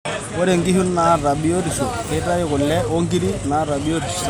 Ore ngishu nata biotisho keitayu kule wongiri nata biotisho sapuk.